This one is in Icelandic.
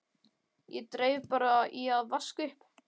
Ég dreif bara í að vaska upp.